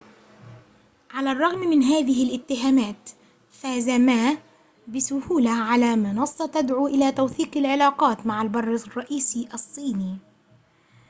على الرغم من هذه الاتهامات فاز ما بسهولة على منصة تدعو إلى توثيق العلاقات مع البر الرئيسي الصيني